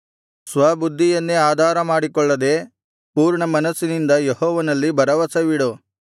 ಸ್ವಬುದ್ಧಿಯನ್ನೇ ಆಧಾರಮಾಡಿಕೊಳ್ಳದೆ ಪೂರ್ಣಮನಸ್ಸಿನಿಂದ ಯೆಹೋವನಲ್ಲಿ ಭರವಸವಿಡು